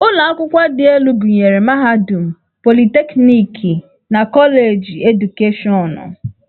Ụlọ akwụkwọ dị elu gụnyere mahadum, politekniki, na Koleji Edukeshọnụ.